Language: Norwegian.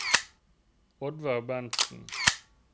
Oddvar Berntzen